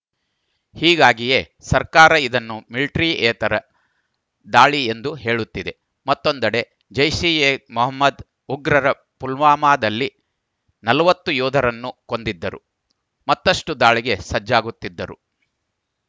ಹೀಗಾಗಿಯೇ ಸರ್ಕಾರ ಇದನ್ನು ಮಿಲಿಟರಿಯೇತರ ದಾಳಿ ಎಂದು ಹೇಳುತ್ತಿದೆ ಮತ್ತೊಂದೆಡೆ ಜೈಷ್‌ ಎ ಮೊಹಮ್ಮದ್‌ ಉಗ್ರರು ಪುಲ್ವಾಮಾದಲ್ಲಿ ನಲವತ್ತು ಯೋಧರನ್ನು ಕೊಂದಿದ್ದರು ಮತ್ತಷ್ಟುದಾಳಿಗೆ ಸಜ್ಜಾಗುತ್ತಿದ್ದರು